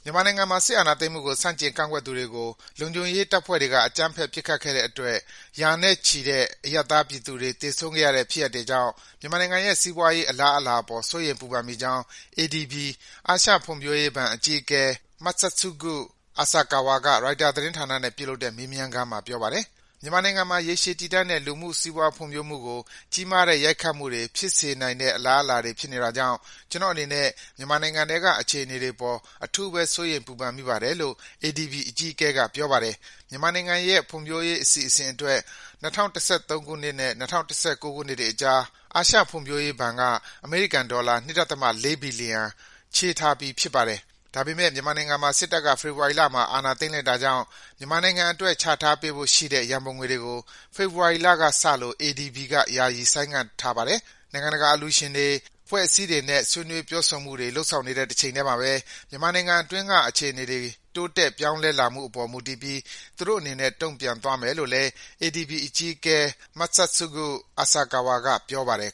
မြန်မာနိုင်ငံမှာ စစ်အာဏာသိမ်းမှုကို ဆန့်ကျင် ကန့်ကွက်ကြသူတွေကို လုံခြုံရေးတပ်ဖွဲ့တွေက အကြမ်းဖက် ပစ်ခတ်တဲ့အတွက် ရာနဲ့ချီတဲ့ အရပ်သားပြည်သူတွေ သေဆုံးခဲ့ရတဲ့ဖြစ်ရပ်တွေကြောင့် မြန်မာနိုင်ငံရဲ့ စီးပွားရေး အလားအလာအပေါ် စိုးရိမ် ပူပန်မိကြောင်း ADB အာရှဖွံ့ဖြိုးရေးဘဏ်အကြီးအကဲ Masatsugu Asakawa က ရိုက်တာသတင်းဌာနနဲ့ ပြုလုပ်တဲ့ မေးမြန်းခန်းမှာ ပြောပါတယ်။ “မြန်မာနိုင်ငံမှာ ရေရှည်တည်တံ့တဲ့ လူမှုစီးပွား ဖွံ့ဖြိုးမှုကို ကြီးမားတဲ့ ရိုက်ခတ်မှုတွေ ဖြစ်စေနိုင်တဲ့အလားအလာတွေ ဖြစ်နေတာကြောင့် ကျနော့်အနေနဲ့ မြန်မာနိုင်ငံထဲက အခြေအနေတွေအပေါ် အထူးပဲ စိုးရိမ် ပူပန်မိပါတယ်။” လို့ ADB အကြီးအကဲက ပြောပါတယ်။ မြန်မာနိုင်ငံရဲ့ ဖွံ့ဖြိုးရေးအစီအစဉ်တွေအတွက် ၂၀၁၃ ခုနှစ်နဲ့ ၂၀၁၉ ခုနှစ်တွေအကြား အာရှဖွံ့ဖြိုးရေးဘဏ်က အမေရိကန်ဒေါ်လာ ၂.၄ ဘီလီယံ ချေးထားပေးပြီး ဖြစ်ပါတယ်။ ဒါပေမဲ့ စစ်တပ်က ဖေဖော်ဝါရီလမှာ အာဏာသိမ်းလိုက်တာကြောင့် မြန်မာနိုင်ငံအတွက် ချထားပေးဖို့ရှိတဲ့ ရန်ပုံငွေတွေကို ဖေဖော်ဝါရီလကစလို့ ADB က ယာယီ ဆိုင်းငံ့ထားလိုက်ပါတယ်။ နိုင်ငံတကာက အလှူရှင်တွေ၊ အဖွဲ့အစည်းတွေနဲ့ ဆွေးနွေး ပြောဆိုမှုတွေ လုပ်ဆောင်နေတဲ့ တချိန်ထဲမှာပဲ မြန်မာနိုင်ငံတွင်းက အခြေအနေတွေ တိုးတက်ပြောင်းလဲလာမှုအပေါ် မူတည်ပြီး သူတို့အနေနဲ့ တုံ့ပြန်သွားမယ်လို့လည်း ADB အကြီးအကဲ Masatsugu Asakawa က ပြောပါတယ်